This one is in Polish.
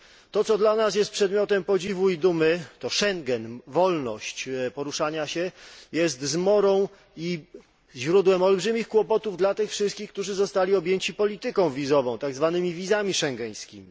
Otóż, to co dla nas jest przedmiotem podziwu i dumy to Schengen, wolność poruszania się jest zmorą i źródłem olbrzymich kłopotów dla tych wszystkich, którzy zostali objęci polityką wizową, tak zwanymi wizami schengeńskimi.